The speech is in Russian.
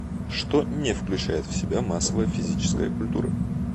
что не включает в себя массовая физическая культура